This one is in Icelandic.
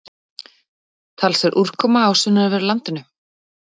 Talsverð úrkoma á sunnanverðu landinu